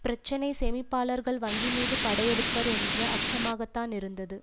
பிரச்சினை சேமிப்பாளர்கள் வங்கிமீது படையெடுப்பர் என்ற அச்சமாகத்தான் இருந்தது